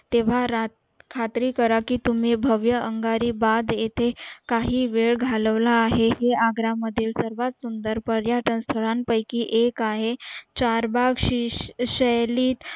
तेव्हा खात्री करा कि भव्य आगरी बाग येते काही वेळ घालवला आहे ते आग्रा मधील सर्वात सुंदर स्थळा पायकीएक आहे चार बाग हि शैली